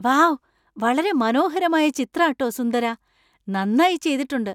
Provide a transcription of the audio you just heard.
Wow ! വളരെ മനോഹരമായ ചിത്രാ ട്ടോ സുന്ദര! നന്നായി ചെയ്തിട്ടുണ്ട് .